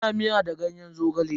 Ana miya da ganyen Zogale.